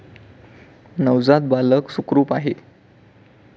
नवजात बालक सुखरूप आहे.